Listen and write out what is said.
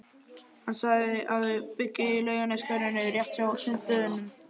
Hann sagði að þau byggju í Laugarneshverfinu, rétt hjá Sundlaugunum.